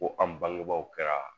Ko an bangebaaw kɛra